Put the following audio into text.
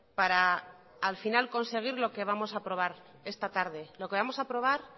para al final conseguir lo que vamos a aprobar esta tarde lo que vamos a aprobar